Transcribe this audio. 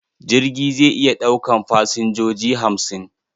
Jirgi zai iya ɗaukan fasinjoji hamsin.